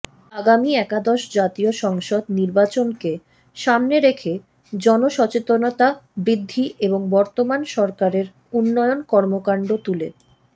আগামী একাদশ জাতীয় সংসদ নির্বাচনকে সামনে রেখে জনসচেতনতা বৃদ্ধি এবং বর্তমান সরকারের উন্নয়ন কর্মকান্ড তুলে